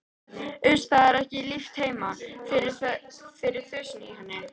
Uss, það er ekki líft heima fyrir þusinu í henni.